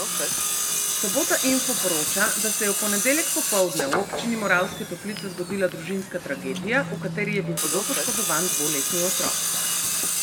Sobota info poroča, da se je v ponedeljek popoldne v občini Moravske Toplice zgodila družinska tragedija, v kateri je bil hudo poškodovan dvoletni otrok.